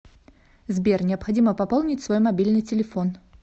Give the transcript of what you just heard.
сбер необходимо пополнить свой мобильный телефон